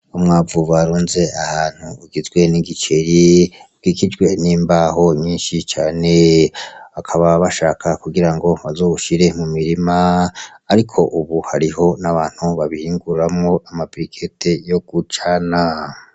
Umwavu barunze ahantu ugizwe n'igiceri ukikijwe n'imbaho nyinshi cane bakaba bashaka kugira ngo bazowushire mu mirima ariko ubu hariho n'abantu babihinguramwo ama brikete yo gucana.